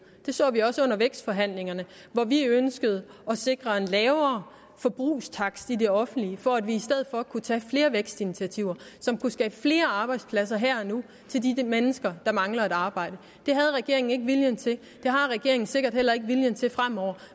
det så vi også under vækstforhandlingerne hvor vi ønskede at sikre en lavere forbrugstakst i det offentlige for at vi i stedet for kunne tage flere vækstinitiativer som kunne skabe flere arbejdspladser her og nu til de mennesker der mangler et arbejde det havde regeringen ikke viljen til det har regeringen sikkert heller ikke viljen til fremover